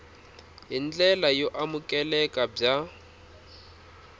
hi ndlela yo amukeleka bya